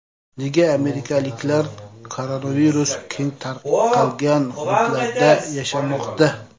Nega amerikaliklar koronavirus keng tarqalgan hududlarda yashamoqda?